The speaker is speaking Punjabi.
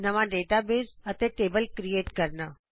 ਨਵਾ ਡੇਟਾਬੇਸ ਅਤੇ ਟੇਬਲ ਕਰਿਏਟ ਕਰਨਾ